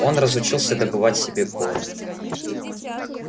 он разучился добывать себе корм